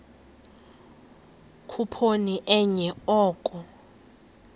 khuphoni enye oko